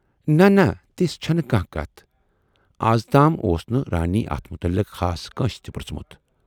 نہَ نہَ تِژھ چھَنہٕ کانہہ کتھ۔ اَزتام اوس نہٕ رانی اتھ مُتلِق خاص کٲنسہِ تہِ پرژھمُت۔